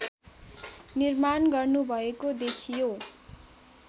निर्माण गर्नुभएको देखियो